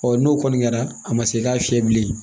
n'o kɔni kɛra a ma se i ka fiyɛ bilen